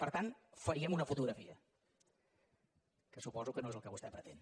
per tant faríem una fotografia que suposo que no és el que vostè pretén